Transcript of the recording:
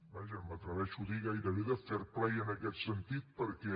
vaja m’atreveixo a dirho gairebé de fair play en aquest sentit perquè